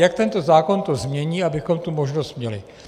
Jak tento zákon to změní, abychom tu možnost měli?